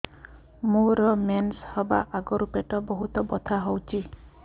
ମୋର ମେନ୍ସେସ ହବା ଆଗରୁ ପେଟ ବହୁତ ବଥା ହଉଚି